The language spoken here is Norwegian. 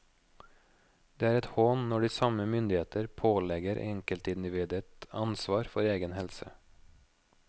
Det er et hån når de samme myndigheter pålegger enkeltindividet ansvar for egen helse.